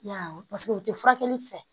I y'a ye paseke u tɛ furakɛli fɛ